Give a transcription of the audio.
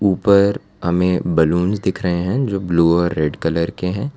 ऊपर हमें बैलून दिख रहे हैं जो ब्लू और रेड कलर के हैं।